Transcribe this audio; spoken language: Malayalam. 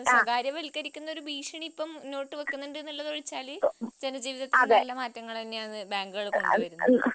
സ്വകാര്യവൽക്കരിക്കുന്ന ഒരു ഭീഷണി മുന്നോട്ട് വെക്കുന്നുണ്ട് എന്നുള്ളത് ഒഴിച്ചാൽ ജനജീവിതത്തിന് നല്ല മാറ്റങ്ങൾ തന്നെയാണ് ബാങ്കുകൾ വഴി ഉണ്ടായത്